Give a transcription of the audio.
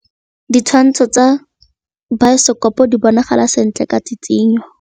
Ditshwantshô tsa biosekopo di bonagala sentle ka tshitshinyô.